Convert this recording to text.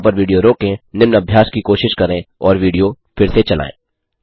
यहाँ पर विडियो रोकें निम्न अभ्यास की कोशिश करें और विडियो फिर से चलायें